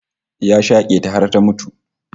Ya shake ta har ta mutu